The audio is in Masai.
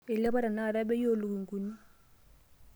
Eilapa tenakata bei oolukunkuni.